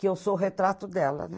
Que eu sou retrato dela, né?